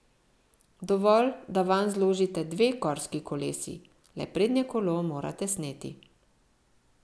Dovolj, da vanj zložite dve gorski kolesi, le prednje kolo morate sneti.